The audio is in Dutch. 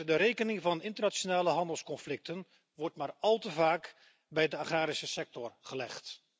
De rekening van internationale handelsconflicten wordt maar al te vaak bij de agrarische sector gelegd.